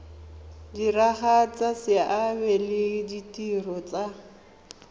diragatsa seabe le ditiro tsa